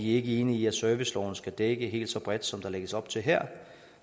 ikke enige i at serviceloven skal dække helt så bredt som der lægges op til her